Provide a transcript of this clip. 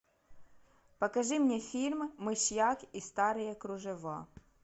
покажи мне фильм мышьяк и старые кружева